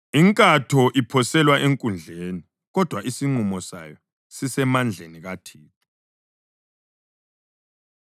Inkatho iphoselwa enkundleni, kodwa isinqumo sayo sisemandleni kaThixo.